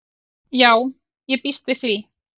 Já ég býst við því.